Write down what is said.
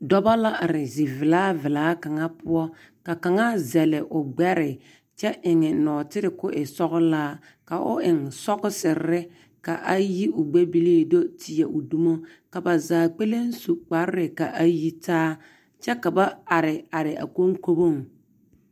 Dͻbͻ la are zivelaa vela kaŋa poͻ, ka kaŋa zԑle o gbԑre kyԑ eŋ nͻͻtere ka o e sͻgelaa, ka o eŋ sͻgesere ka a yi o gbԑ bilii a do te teԑ o dumo. Ka ba zaa kpԑlem su kparre ka a yi taa kyԑ ka ba are are a koŋkoboŋ.